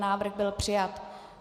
Návrh byl přijat.